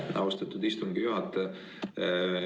Aitäh, austatud istungi juhataja!